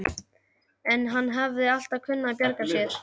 En hann hafði alltaf kunnað að bjarga sér.